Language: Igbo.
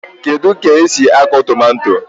Kedu k'esi akụ tomato?